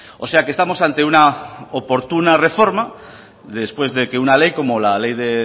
o sea que estamos ante una oportuna reforma después de que una ley como la ley de